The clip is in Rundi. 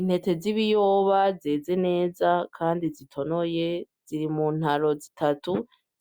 Intete zib iyoba zeze neza, kandi zitonoye ziri mu ntaro zitatu